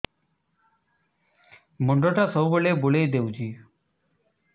ମୁଣ୍ଡଟା ସବୁବେଳେ ବୁଲେଇ ଦଉଛି